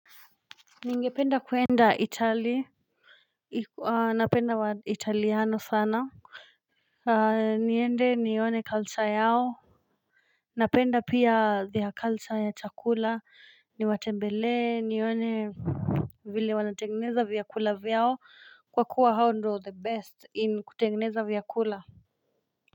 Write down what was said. Nigependa kwenda Itay, napenda wa italiano sana. Niende nione culture yao. Napenda pia there culture ya chakula, ni watembelee, nione vile wana tengeneza vyakula vyao, kwa kuwa hao ndo the best in kutengeneza vyakula.